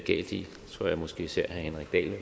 tror jeg måske især